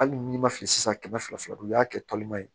Hali n'i ma fili sisan kɛmɛ fila don o y'a kɛ tɔlima ye